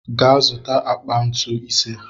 Ga zụtakwuo akpa ntu ise!